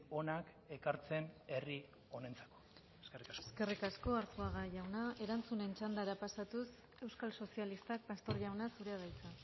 onak ekartzen herri honentzako eskerrik asko eskerrik asko arzuaga jauna erantzunen txandara pasatuz euskal sozialistak pastor jauna zurea da hitza